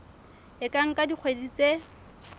e ka nka dikgwedi tse